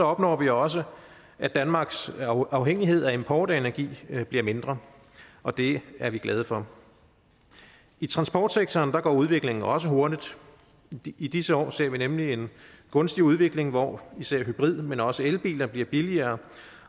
opnår vi også at danmarks afhængighed af import af energi bliver mindre og det er vi glade for i transportsektoren går udviklingen også hurtigt i disse år ser vi nemlig en gunstig udvikling hvor især hybrid men også elbiler bliver billigere